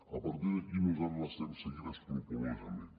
a partir d’aquí nosaltres l’estem seguint escrupolosament